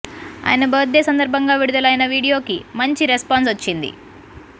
ఆయన birthday సందర్భంగా విడుదలైన వీడియో కి మంచి రెస్పాన్స్ వచ్చింది